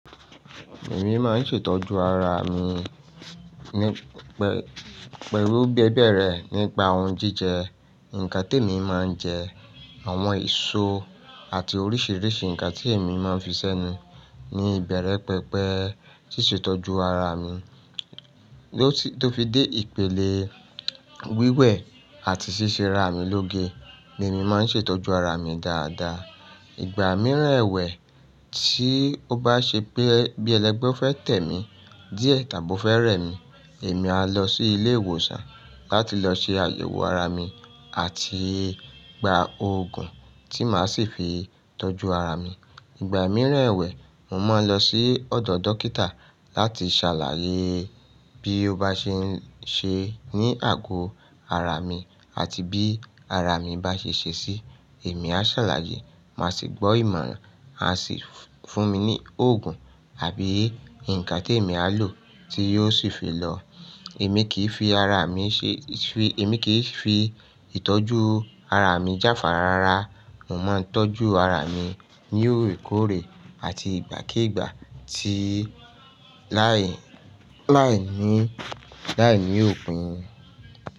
Èmi máa ń ṣètọ́jú ara mi pẹ́lú gbẹ́gbẹ́rẹ́ nípa ohun jíjẹ, ǹkan temi máa ń jẹ, àwọn èso àti oríṣiríṣi ǹkan tí èmi máa ń fi sẹ́nu. Ni ìbẹ̀rẹ̀ pẹpẹ ṣíṣe ìtọ́jú ara mi, tó fi dé ìpele wíwẹ̀ àti ṣíṣe ara mi lóge ni èmi máa ń ṣètọ́jú ara mi dáadáa. Ìgbà mìíràn ẹ̀wẹ̀ tí ó bá ṣe pé bí ẹlẹ́gbẹ́ fẹ́ tẹ mi díẹ̀ tàbí ó fẹ́ rẹ mi, èmi a lọ sí ilé ìwòsàn láti lọ ṣe àyẹ̀wò ara mi àti gba oògùn tí màá sì fi tọ́jú ara mi. Ìgbà mìíràn ẹ̀wẹ̀, mo máa ń lọ sí ọ̀dọ̀ dókítà láti ṣàlàyé bí ó bá ṣe ń ṣe ní àgò ara mi àti bí ara mi bá ṣe ṣe sí i, èmi á ṣàlàyé, màá sì gbọ́ ìmọ̀ràn, a sì fún mi ní oògùn àbí ǹkan tí èmi á lò tí yóò sì fi lọ. Emi ki fi ara Èmi kì í fi ìtọ́jú ara mi jáfàra rárá. Mo máa ń tọ́jú ara mi ní òrekórè àti ìgbàkígbà tii --lai- laini-- láìní òpin.